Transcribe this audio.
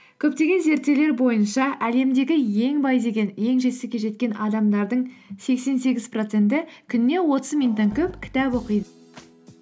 көптеген зерттеулер бойынша әлемдегі ең бай деген ең жетістікке жеткен адамдардың сексен сегіз проценті күніне отыз минуттан көп кітап оқиды